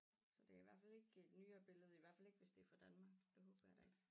Så det i hvert fald ikke et nyere billede i hvert fald ikke hvis det er fra Danmark det håber jeg da ikke